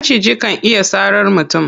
Maciji kan iya sarar mutum.